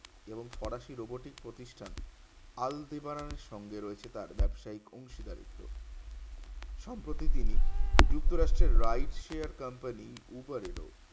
এবং ফরাসি robotic প্রতিষ্ঠান আলদিবারার সঙ্গে রয়েছে তার ব্যাবসায়িক অংশীদারিত্ব সব কটি তিনি যুক্ত রাষ্ট্রের write share company উবারের ও